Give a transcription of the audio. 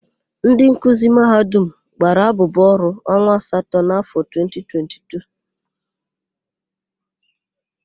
Ndị nkuzi Mahadum gbara abụbụ ọrụ onwa asatọ n'afọ 2022.